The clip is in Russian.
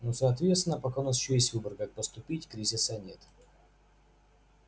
но соответственно пока у нас ещё есть выбор как поступить кризиса нет